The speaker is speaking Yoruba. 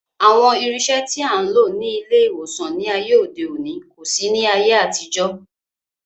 Àwọn irinṣẹ́ tí a ń lò ní ilé ìwòsàn ní ayé òde òní kò sí ní ayé àtijọ́